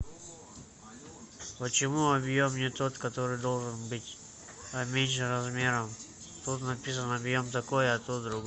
почему объем не тот который должен быть а меньше размером тут написано объем такой а тут другой